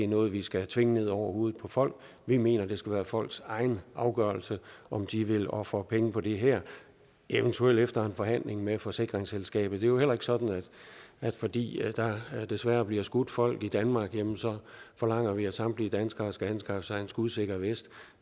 noget vi skal tvinge ned over hovedet på folk vi mener det skal være folks egen afgørelse om de vil ofre penge på det her eventuelt efter en forhandling med forsikringsselskabet det er jo heller ikke sådan at fordi der desværre bliver skudt folk i danmark jamen så forlanger vi at samtlige danskere skal anskaffe sig en skudsikker vest